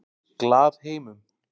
Glaðheimum